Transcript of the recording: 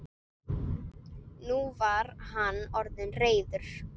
Nú var hann orðinn reiður.